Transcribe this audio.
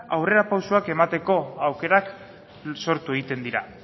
aurrerapausoak emateko aukerak sortu egiten dira